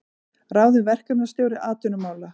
Ráðinn verkefnisstjóri atvinnumála